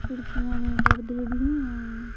खिड़कियां में पर्दे भी हैं।